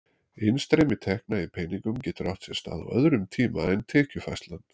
Innstreymi tekna í peningum getur átt sér stað á öðrum tíma en tekjufærslan.